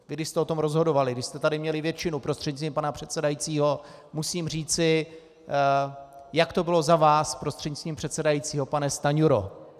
Vy když jste o tom rozhodovali, když jste tady měli většinu, prostřednictvím pana předsedajícího, musím říci, jak to bylo za vás, prostřednictvím předsedajícího, pane Stanjuro.